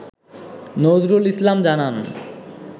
নজরুল ইসলাম জানান